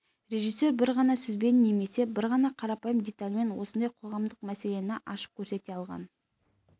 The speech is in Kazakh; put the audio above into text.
режиссер бір ғана сөзбен немесе бір ғана қарапайым детальмен осындай қоғамдық мәселені ашып көрсете алған